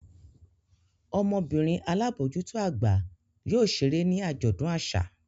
Ọmọbinrin alabojuto agba yóò ṣere ni ajọdun aṣa.